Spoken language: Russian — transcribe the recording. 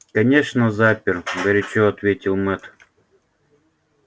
конечно запер горячо ответил мэтт